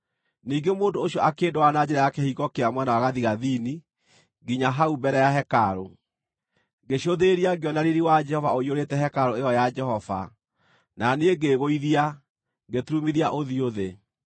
Ningĩ mũndũ ũcio akĩndwara na njĩra ya kĩhingo kĩa mwena wa gathigathini nginya hau mbere ya hekarũ. Ngĩcũthĩrĩria, ngĩona riiri wa Jehova ũiyũrĩte hekarũ ĩyo ya Jehova, na niĩ ngĩĩgũithia, ngĩturumithia ũthiũ thĩ.